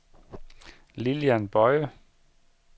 Lillian Boye